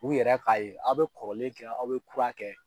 U yɛrɛ k'a ye aw be kɔrɔlen kɛ aw be kura kɛ